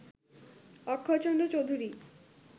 Akshaychandra Chowdhury